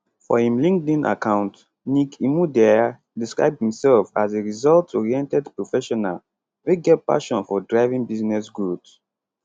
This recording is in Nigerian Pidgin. for im linkedin account nick imudia describe imsef as a resultsoriented professional wey get passion for driving business growth